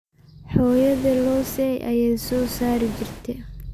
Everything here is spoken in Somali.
Xoyodhe loosay ayay sosarijirte.